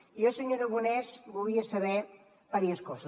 jo senyor aragonès volia saber diverses coses